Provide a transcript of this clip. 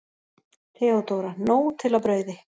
THEODÓRA: Nóg til af brauði!